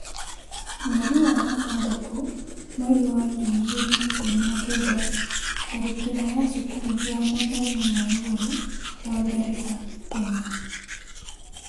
Mweri wa gatandatũ mweri wa ngiri igĩrĩ na ikũmi na kenda, tharĩkĩra ya cukuru ya mathomo ma igũrũ wa Garissa Kenya.